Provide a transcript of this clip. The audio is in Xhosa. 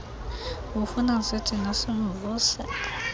ubufuna sithini simvuse